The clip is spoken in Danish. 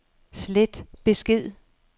slet besked